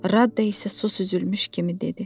Radda isə sus süzülmüş kimi dedi.